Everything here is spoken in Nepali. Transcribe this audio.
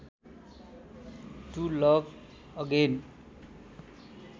to love again